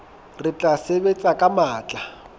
re tla sebetsa ka matla